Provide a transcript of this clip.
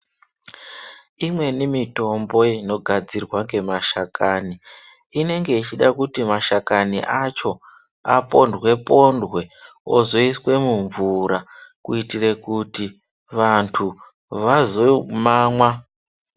Imweni mitombo inogadzirwa ngemashakani inenge yechida kuti mashakani acho apondwe pondwe ozoiswe mumvura kuitire kuti vanthu vazomamwa.